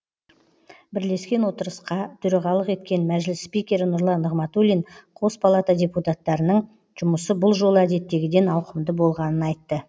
бірлескен отырысқа төрағалық еткен мәжіліс спикері нұрлан нығматулин қос палата депутаттарының жұмысы бұл жолы әдеттегіден ауқымды болғанын айтты